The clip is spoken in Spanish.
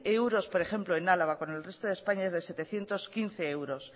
euros por ejemplo en araba cuando en el resto de españa es de setecientos quince euros